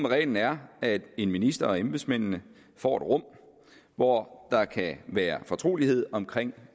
reglen er at en minister og embedsmændene får et rum hvor der kan være fortrolighed omkring